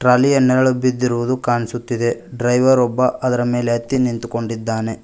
ಅಲ್ಲಿ ಅ ನೆರಳು ಬಿದ್ದಿರುವುದು ಕಾಣಿಸುತ್ತಿದೆ ಡ್ರೈವರ್ ಒಬ್ಬ ಅದರ ಮೇಲೆ ಹತ್ತಿ ನಿಂತ್ಕೊಂಡಿದ್ದಾನೆ.